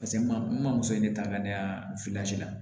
Paseke n ma n ma muso in ne ta ka ne ka la